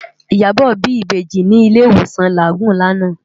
Iyabo bi ibèji ni ilé iwósán Lágúùn làná